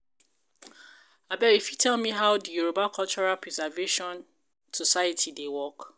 you fit tell me how the Yoruba Cultural preservation society dey work?